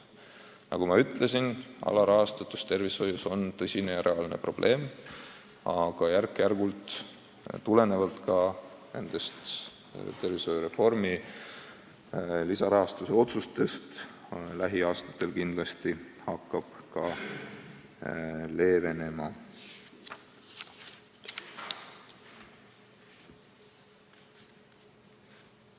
Nagu ma ütlesin, alarahastatus tervishoius on tõsine probleem, aga järk-järgult ja seda tulenevalt ka tervishoiureformiga seotud lisarahastuse otsustest hakkab see lähiaastatel kindlasti leevenema.